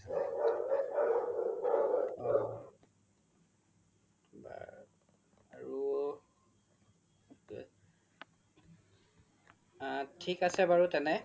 আ থিক আছে বাৰু তেনে